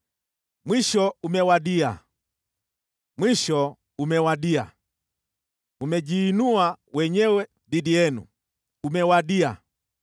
Mwisho umewadia! Mwisho umewadia! Umejiinua wenyewe dhidi yenu. Umewadia!